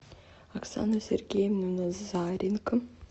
оксану сергеевну назаренко